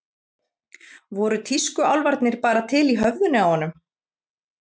Voru tískuálfarnir bara til í höfðinu á honum?